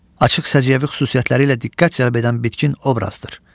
Açıq səciyyəvi xüsusiyyətləri ilə diqqət cəlb edən bitkin obrazdır.